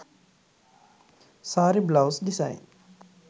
saree blouse design